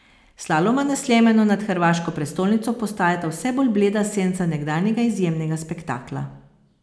Slaloma na Sljemenu nad hrvaško prestolnico postajata vse bolj bleda senca nekdanjega izjemnega spektakla.